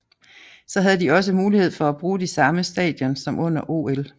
Så havde de også mulighed for at bruge de samme stadions som under OL